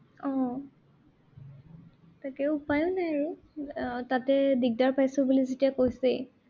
আহ তাকে উপায়ো নাই আৰু, আহ তাতে দিগদাৰ পাইছো বুলি যেতিয়া কৈছেই।